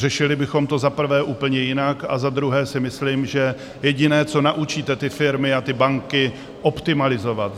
Řešili bychom to, za prvé, úplně jinak, a za druhé si myslím, že jediné, co naučíte ty firmy a ty banky - optimalizovat.